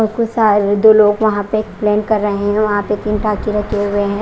और कुछ शायर दो लोग वहां पे एक्सप्लेन कर रहे हैं वहां पे तीन टाके रखे हुए हैं।